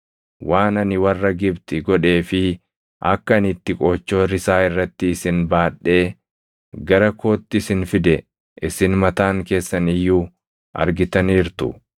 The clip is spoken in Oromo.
‘Waan ani warra Gibxi godhee fi akka ani itti qoochoo risaa irratti isin baadhee gara kootti isin fide isin mataan keessan iyyuu argitaniirtu.